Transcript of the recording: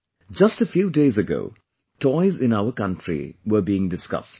Just a few days ago, toys in our country were being discussed